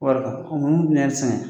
Wariga o munnu be yɛrɛ sɛgɛn